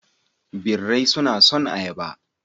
Birai suna son ayaba.